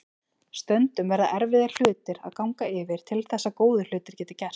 Stundum verða erfiðir hlutir að ganga yfir til þess að góðir hlutir geti gerst.